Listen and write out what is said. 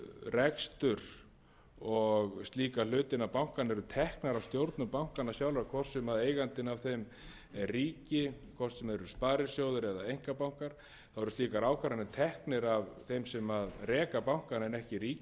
rekstur og slíka hluti innan bankanna eru teknar af stjórnum bankanna sjálfra hvort sem eigandinn að þeim er ríki hvort sem það eru sparisjóðir eða einkabankar þá eru slíkar ákvarðanir teknar af þeim sem reka bankana en ekki ríkisstjórninni frá degi til dags eins og